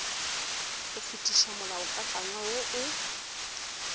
go fetiša molaokakanywa wo o